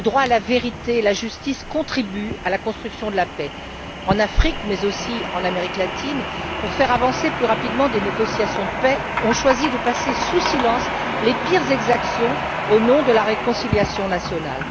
Le droit à la vérité et à la justice contribue à la construction de la paix. En Afrique, mais aussi en Amérique latine, on choisit, pour faire avancer plus rapidement des négociations de paix, de passer sous silence les pires exactions au nom de la réconciliation nationale.